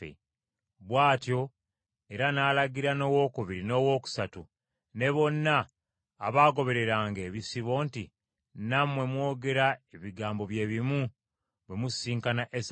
Bw’atyo era n’alagira n’owokubiri n’owookusatu ne bonna abaagobereranga ebisibo nti, “Nammwe mwogere ebigambo bye bimu bwe musisinkana Esawu,